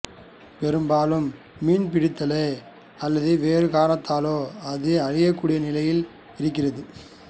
பெரும்பாலும் மீன்பிடிப்பதாலோ அல்லது வேறு காரணத்தாலோ அது அழியக்கூடிய நிலையில் இருக்கிறது